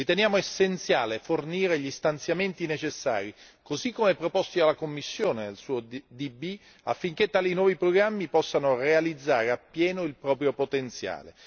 Riteniamo essenziale fornire gli stanziamenti necessari così come proposto dalla Commissione il suo PB, affinché tali nuovi programmi possano realizzare appieno il proprio potenziale.